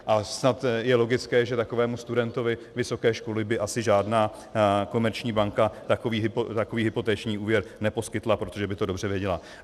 A snad je logické, že takovému studentovi vysoké školy by asi žádná komerční banka takový hypoteční úvěr neposkytla, protože by to dobře věděla.